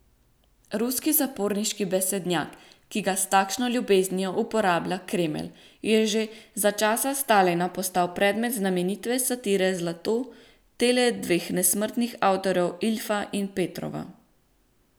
Ruski zaporniški besednjak, ki ga s takšno ljubeznijo uporablja Kremelj, je že za časa Stalina postal predmet znamenite satire Zlato tele dveh nesmrtnih avtorjev Iljfa in Petrova.